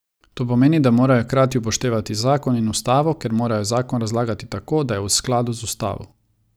To pomeni, da morajo hkrati upoštevati zakon in ustavo, ker morajo zakon razlagati tako, da je v skladu z ustavo.